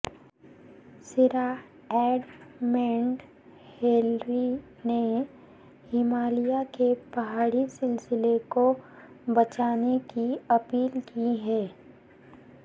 Sir Edmund Hillary نےہمالیہ کے پہاڑی سلسلے کو بچانے کی اپیل کی ہے